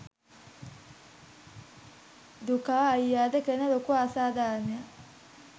දුකා අයියට කරන ලොකු අසාධාරනයක්